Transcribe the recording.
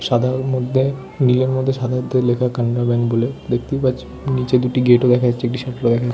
সাদার মধ্যে নীলের মধ্যে সাদাতে লেখা কানাড়া ব্যাঙ্ক বলে দেখতেই পাচ্ছি নিচে দুটি গেট ও দেখা যাচ্ছে একটি সাইকেল ও দেখা যা --